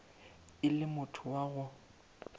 e le motho wa go